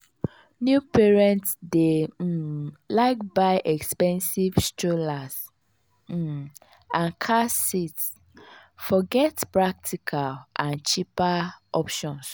new parents dey um like buy expensive strollers um and car seats forget practical and cheaper options.